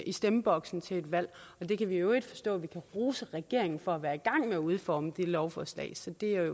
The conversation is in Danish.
i stemmeboksen til et valg jeg kan i øvrigt forstå at vi kan rose regeringen for at være i gang med at udforme det lovforslag så det